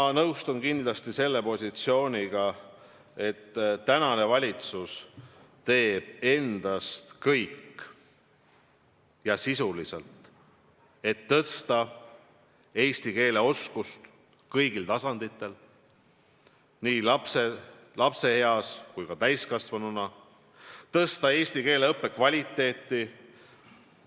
Ma nõustun kindlasti selle positsiooniga, et valitsus teeb kõik endast oleneva, et tõsta eesti keele oskust kõigil tasanditel, olgu tegu laste või täiskasvanutega, et tõsta eesti keele õppe kvaliteeti.